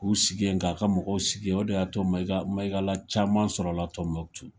K'u sigi ye k'a ka mɔgɔw sigi ye o de y'a to Maiga Maigala caman sɔrɔla Tombouctou.